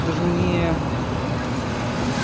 даже не